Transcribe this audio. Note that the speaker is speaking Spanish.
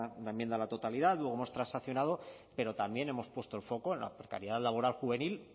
una enmienda a la totalidad luego hemos transaccionado pero también hemos puesto el foco en la precariedad laboral juvenil